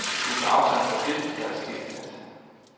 Vi tager afstand fra det, der er sket i nat.